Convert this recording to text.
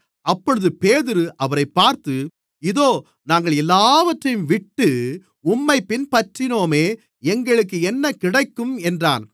அப்பொழுது பேதுரு அவரைப் பார்த்து இதோ நாங்கள் எல்லாவற்றையும்விட்டு உம்மைப் பின்பற்றினோமே எங்களுக்கு என்ன கிடைக்கும் என்றான்